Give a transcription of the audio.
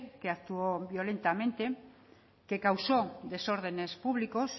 que actuó violentamente que causó desórdenes públicos